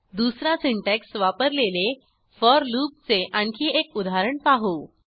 दुसरा सिंटॅक्स वापरलेले फोर लूपचे आणखी एक उदाहरण पाहू